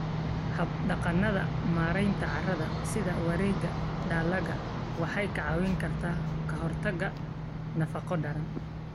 Hab-dhaqannada maaraynta carrada sida wareegga dalagga waxay ka caawiyaan ka hortagga nafaqo-darrada.